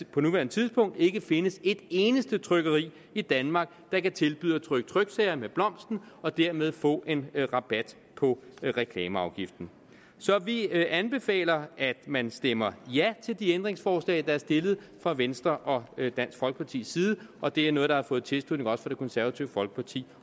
på nuværende tidspunkt ikke findes et eneste trykkeri i danmark der kan tilbyde at trykke tryksager med blomsten og dermed få en rabat på reklameafgiften så vi anbefaler at man stemmer ja til de ændringsforslag der er stillet fra venstres og dansk folkepartis side og det er noget der også har fået tilslutning fra det konservative folkeparti